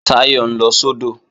Táyọ̀ ń lọ sódò